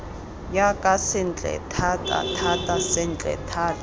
jaaka sentle thatathata sentle thata